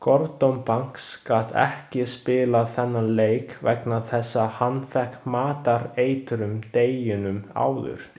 Gordon Banks gat ekki spilað þennan leik vegna þess að hann fékk matareitrun deginum áður.